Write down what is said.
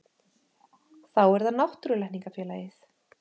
Þá er það Náttúrulækningafélagið.